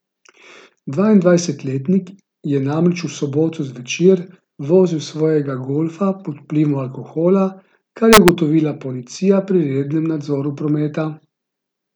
Dvaindvajsetletnik je namreč v soboto zvečer vozil svojega golfa pod vplivom alkohola, kar je ugotovila policija pri rednem nadzoru prometa.